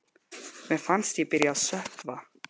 Mér fannst ég byrja að sökkva.